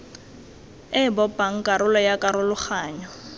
e bopang karolo ya karologanyo